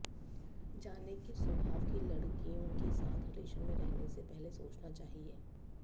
जानें किस स्वभाव की लड़कियों के साथ रिलेशन में रहने से पहले सोचना चाहिए